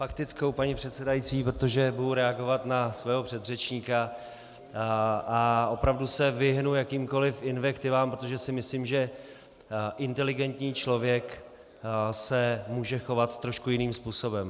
Faktickou, paní předsedající, protože budu reagovat na svého předřečníka a opravdu se vyhnu jakýmkoliv invektivám, protože si myslím, že inteligentní člověk se může chovat trošku jiným způsobem.